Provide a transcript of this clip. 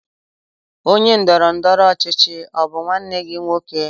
Onye ndọrọ ndọrọ ọchịchị ọ bụ nwanne gị nwoke?